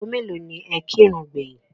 Ago mélòó ni ẹ kírun gbẹ̀yìn?